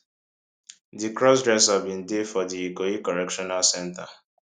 di crossdresser bin dey for di ikoyi correctional centre